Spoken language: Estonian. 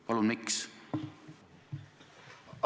Palun, miks?